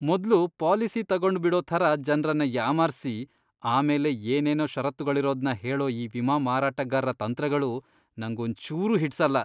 ಮೊದ್ಲು ಪಾಲಿಸಿ ತಗೊಂಡ್ಬಿಡೋ ಥರ ಜನ್ರನ್ನ ಯಾಮಾರ್ಸಿ ಆಮೇಲೆ ಏನೇನೋ ಷರತ್ತುಗಳಿರೋದ್ನ ಹೇಳೋ ಈ ವಿಮಾ ಮಾರಾಟಗಾರ್ರ ತಂತ್ರಗಳು ನಂಗೊಂಚೂರೂ ಹಿಡ್ಸಲ್ಲ.